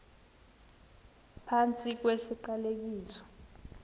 phantsi kwesi siqalekiso